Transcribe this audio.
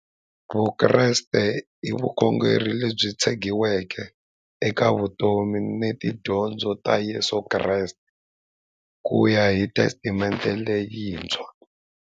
Vukreste i vukhongeri lebyi tshegiweke eka vutomi na tidyondzo ta Yesu Kreste kuya hi Testamente leyintshwa.